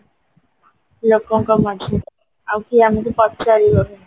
କମ ଅଛି ଆଉ କିଏ ଆମକୁ ପଚାରିବନି